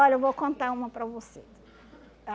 Olha, eu vou contar uma para você.